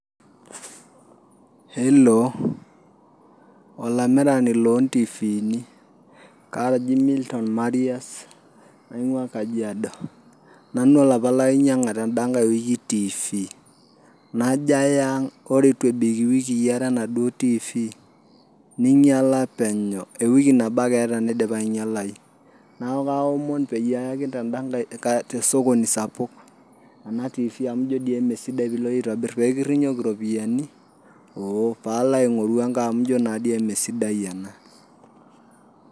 hello olamirani loo ntiviini kaji Milton Maria's naingua kajiado nanu olapa lainyianga tenda ngae wiki tv najo aya ang ore eitu ebik iwikii are ena duo tv neinyiala penyo ewiki nabo ake eeta neidipa ainyialayu neeku kaaomon peyii aayaki tenda ngae sokobi sapuk ena tv [c] amu njio doi eme sidai pee kirinyoki nanu iropiyiani ooh pee alo aingoru ennkae amu injio naa doi eme sidai ena .